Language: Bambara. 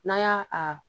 N'an y'a a